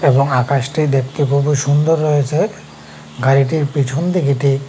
এবং আকাশটি দেখতে খুবই সুন্দর রয়েছে গাড়িটির পেছনদিকটি--